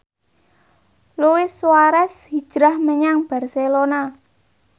Luis Suarez hijrah menyang Barcelona